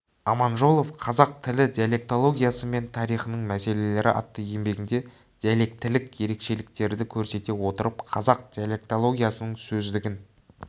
аманжолов қазақ тілі диалектологиясы мен тарихының мәселелері атты еңбегінде диалектілік ерекшеліктерді көрсете отырып қазақ диалектологиясының сөздігін